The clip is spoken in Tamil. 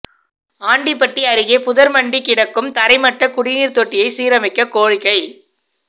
ஆண்டிபட்டி அருகே புதா்மண்டி கிடக்கும் தரைமட்ட குடிநீா் தொட்டியை சீரமைக்க கோரிக்கை